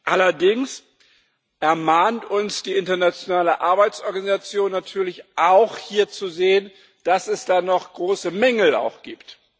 Allerdings ermahnt uns die internationale Arbeitsorganisation natürlich auch hier zu sehen, dass es da auch noch große Mängel gibt.